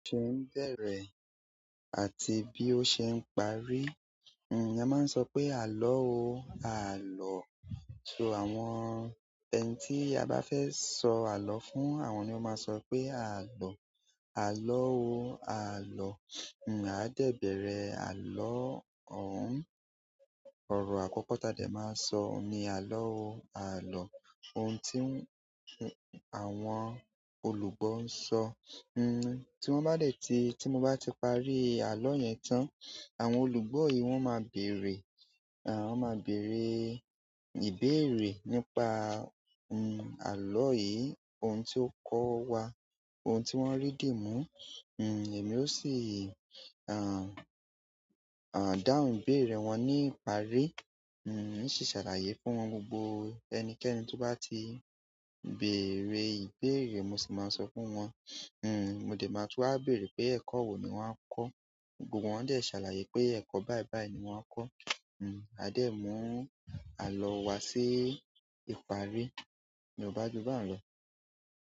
Ṣé ń bẹ̀rẹ̀ àti bí ó ṣe ń parí? Hmm, a máa ń sọ pé "àlọ́ o, a à lọ." So àwọn ẹni tí a bá fẹ́ sọ àlọ́ fún, àwọn ni ó máa sọ pé "a à lọ", "àlọ́ o, a à lọ." Hmm, a dẹ̀ bẹ̀rẹ̀ àlọ́ òun. Ọ̀rọ̀ àkọ́kọ́ ta dẹ̀ máa sọ ni "àlọ́ o, a à lọ." Ohun tí ń-- àwọn olùgbọ́ ń sọ. Hmm ti won ba de ti ti mo ba ti parí àlọ yen tan, àwọn olùgbọ yi won ma bere won má bèère ìbéèrè nípa, hmm, àlọ́ yìí, ohun tí ó kọ́ wa, ohun tí wọ́n rí dìmú. Hmm, èmi ó sì, à, à, dáhùn béèrè wọn níparí, hmm, ṣì ṣàlàyé fún wọn. Gbogbo ẹnikẹ́ni tó bá ti bèrè ìbéèrè mo sì máa sọ fún wọn. Hmm, mo dẹ̀ máa tú wa béèrè pé ẹ̀kọ́ wo ni wọ́n kọ́, gbogbo wọn dẹ̀ ṣàlàyé pé ẹ̀kọ́ báìbàí ni wọ́n kọ́. Hmm, a dẹ̀ mú àlọ́ wa sí ìparí. Ni o ba jùbà ń lọ.